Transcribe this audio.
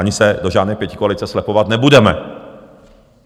Ani se do žádné pětikoalice slepovat nebudeme.